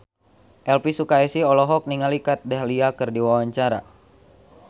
Elvy Sukaesih olohok ningali Kat Dahlia keur diwawancara